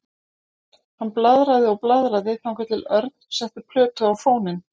Hann blaðraði og blaðraði þangað til Örn setti plötu á fóninn.